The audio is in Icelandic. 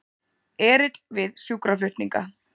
Erill við sjúkraflutninga